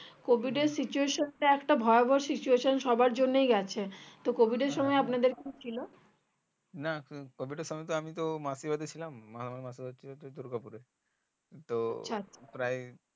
COVID এর situation এ একটা ভয়াভক situation সবাড়ির গেছে তো COVID এর সময় আপনাদের কি ছিল